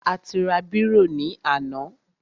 A ti ra bírò ní àná.